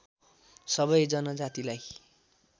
सबै जनजातिलाई